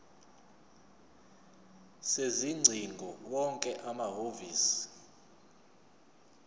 sezingcingo wonke amahhovisi